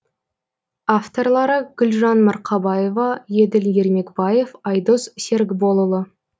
авторлары гүлжан марқабаева еділ ермекбаев айдос серікболұлы